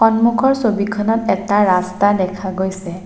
সন্মুখৰ ছবিখনত এটা ৰাস্তা দেখা গৈছে।